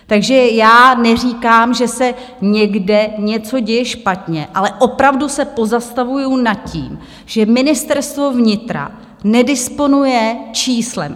Takže já neříkám, že se někde něco děje špatně, ale opravdu se pozastavuju nad tím, že Ministerstvo vnitra nedisponuje číslem.